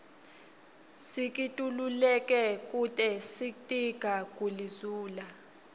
sikitululeke kute sitiga guli zula